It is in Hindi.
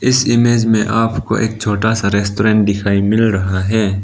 इस इमेज में आपको एक छोटा सा रेस्टोरेंट दिखाई मिल रहा है।